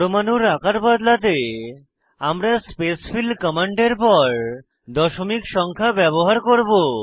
পরমাণুর আকার বদলাতে আমরা স্পেসফিল কমান্ডের পর দশমিক সংখ্যা ব্যবহার করব